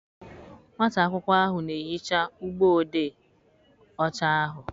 Nwata akwụkwọ ahụ na-ehicha ụgbọ odee ọcha ahụ.